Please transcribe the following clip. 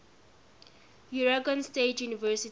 oregon state university